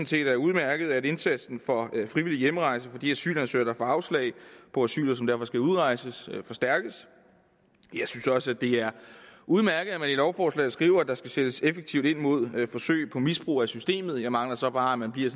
set er udmærket at indsatsen for frivillig hjemrejse for de asylansøgere der får afslag på asyl og som derfor skal udrejse forstærkes jeg synes også at det er udmærket at man i lovforslaget skriver at der skal sættes effektivt ind mod forsøg på misbrug af systemet jeg mangler så bare at man bliver